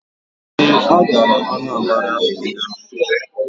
Ee, ha gara Anambara ụnyaahụ.